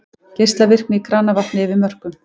Geislavirkni í kranavatni yfir mörkum